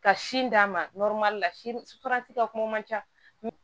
Ka sin d'a ma ka kuma man ca